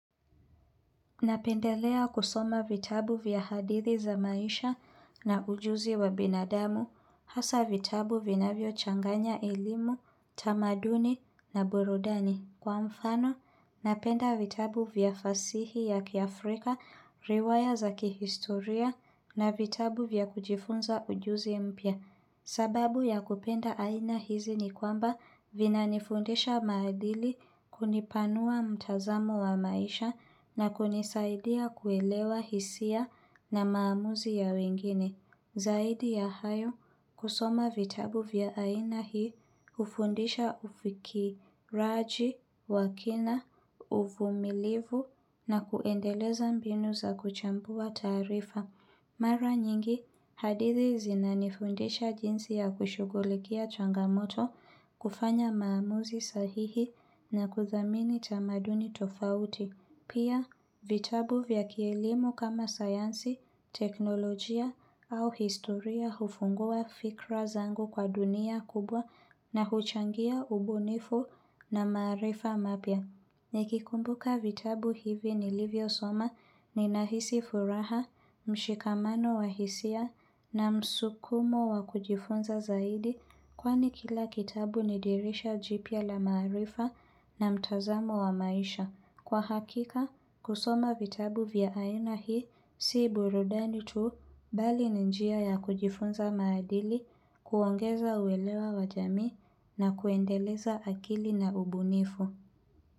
Napendelea kusoma vitabu vya hadithi za maisha na ujuzi wa binadamu, hasa vitabu vinavyochanganya elimu, tamaduni na burudani. Kwa mfano, napenda vitabu vya fasihi ya kiafrika, riwaya za kihistoria na vitabu vya kujifunza ujuzi mpya. Sababu ya kupenda aina hizi ni kwamba vinanifundisha maadili kunipanua mtazamo wa maisha na kunisaidia kuelewa hisia na maamuzi ya wengine. Zaidi ya hayo kusoma vitabu vya aina hii ufundisha ufikiraji, wa kina, uvumilivu na kuendeleza mbinu za kuchambua tarifa. Mara nyingi, hadithi zinanifundisha jinsi ya kushugulikia changamoto kufanya maamuzi sahihi na kuthamini tamaduni tofauti. Pia, vitabu vya kielimu kama sayansi, teknolojia au historia hufungua fikra zangu kwa dunia kubwa na huchangia ubunifu na maarifa mapya. Nikikumbuka vitabu hivi nilivyosoma ninahisi furaha, mshikamano wa hisia na msukumo wa kujifunza zaidi kwani kila kitabu ni dirisha jipya la maarifa na mtazamo wa maisha. Kwa hakika, kusoma vitabu vya aina hii, si burudani tuu bali ni njia ya kujifunza maadili, kuongeza uwelewa wa jami na kuendeleza akili na ubunifu.